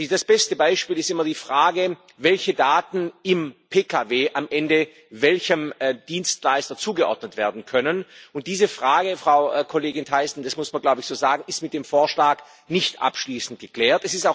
Das beste Beispiel ist immer die Frage, welche Daten im Pkw am Ende welchem Dienstleister zugeordnet werden können. Und diese Frage, Frau Kollegin Thyssen das muss man so sagen ist mit dem Vorschlag nicht abschließend geklärt.